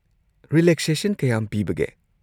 Relaxation ꯀꯌꯥꯝ ꯄꯤꯕꯒꯦ?